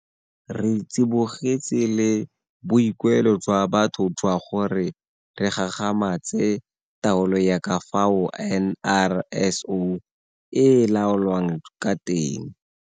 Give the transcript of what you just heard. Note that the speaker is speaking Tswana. Re tsibogetse le boikuelo jwa batho jwa gore re gagamatse taolo ya ka fao NRSO e laolwang ka teng.